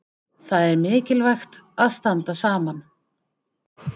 Það er mikilvægt að standa saman.